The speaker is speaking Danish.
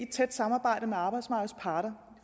tæt samarbejde med arbejdsmarkedets parter